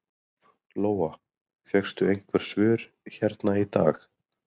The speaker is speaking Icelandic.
Lóa: Fékkstu einhver svör hérna í dag?